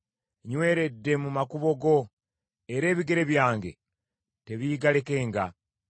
Nnyweredde mu makubo go, era ebigere byange tebiigalekenga.